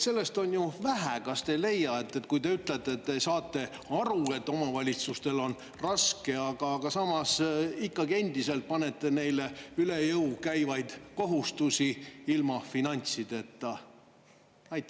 Sellest on ju vähe, kas te ei leia, kui te ütlete, et te saate aru, et omavalitsustel on raske, aga samas ikkagi endiselt panete neile üle jõu käivaid kohustusi ilma finantsideta?